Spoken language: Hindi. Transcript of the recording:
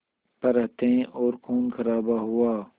पर हत्याएं और ख़ूनख़राबा हुआ